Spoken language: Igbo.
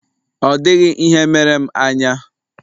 Ọ dịghị ihe mere m anya.